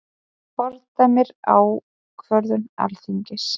Fordæmir ákvörðun Alþingis